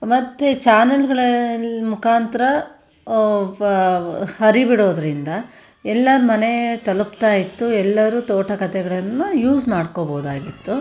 ಮತ್ತೆ ಚಾನಲ್ ಗಳಅಲ್ ಮುಕಾಂತರ ಅಹ್ ವ ಹರಿಬಿಡೋದ್ರಿಂದ ಎಲ್ಲಾ ಮನೇ ತಲುಪ್ತಾಯಿತ್ತು ಎಲ್ಲರು ತೋಟ ಕಥೆಗಳನ್ನು ಯೂಸ್ ಮಾಡಕೋಬಹುದಾಗಿತ್ತು .